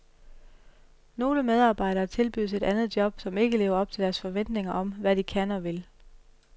Nogle medarbejdere tilbydes et andet job, som ikke lever op til deres forventninger om, hvad de kan og vil.